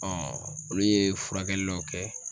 olu ye furakɛli dɔ kɛ